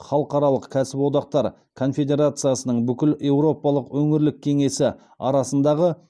халықаралық кәсіподақтар конфедерациясының бүкілеуропалық өңірлік кеңесі арасындағы